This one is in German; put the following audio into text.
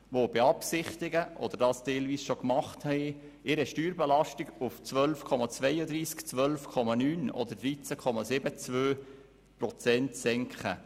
Diese beabsichtigen – soweit sie es nicht bereits getan haben –, ihre Steuerbelastungen auf 12,31, 12,9 oder 13, 72 Prozent zu senken.